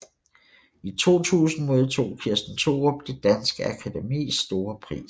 I 2000 modtog Kirsten Thorup Det Danske Akademis Store Pris